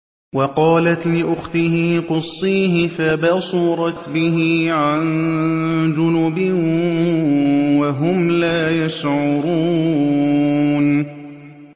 وَقَالَتْ لِأُخْتِهِ قُصِّيهِ ۖ فَبَصُرَتْ بِهِ عَن جُنُبٍ وَهُمْ لَا يَشْعُرُونَ